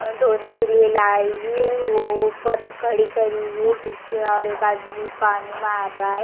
धोने के लिए लाई हुई है वो ऊपर खड़ी करी हुई है जिससे और एक आदमी पानी मार रहा है.